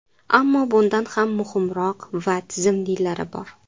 Ammo bundan ham muhimroq va tizimlilari bor.